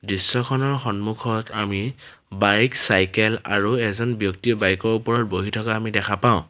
দৃশ্যখনৰ সন্মুখত আমি বাইক চাইকেল আৰু এজন ব্যক্তি বাইক ৰ ওপৰত বহি থকা আমি দেখা পাওঁ।